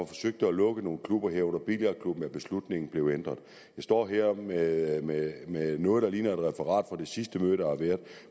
forsøgte at lukke nogle klubber herunder billardklubben er beslutningen blevet ændret jeg står her med med noget der ligner et referat fra det sidste møde der har været